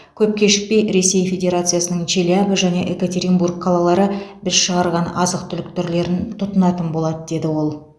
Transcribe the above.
көп кешікпей ресей федерациясының челябі және екатеринбург қалалары біз шығарған азық түлік түрлерін тұтынатын болады деді ол